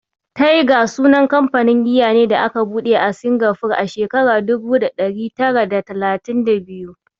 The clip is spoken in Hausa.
Tiger sunan kamfanin giya ne da aka buɗe a Singapore a shekarar dubu da ɗari tara da talatin da biyu.